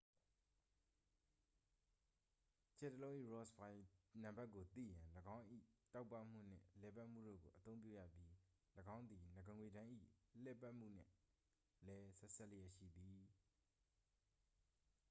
ကြယ်တစ်လုံး၏ rossby နံပါတ်ကိုသိရန် ၎င်း၏ တောက်ပမှုနှင့်လည်ပတ်မှုတို့ကို အသုံးပြုရပြီး ၎င်းသည် နဂါးငွေ့တန်း၏ လှည်ပတ်မှုနှင့်လည်း ဆက်စပ်လျက်ရှိသည်